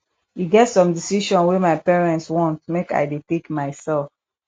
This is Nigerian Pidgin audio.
e get some decision wey my parents want make i dey take mysef